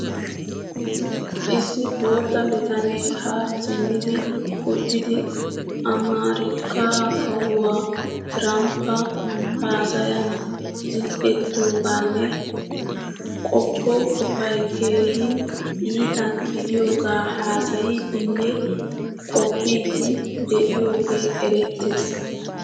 Issi boottaa bitane ha simmidi uttidi Amarikka kawuwaa Tiramppa haasayan zil'ettoganne qoppo qofay keehin iita gidiyoga haasayidinne qopoidi deiyoge erettees.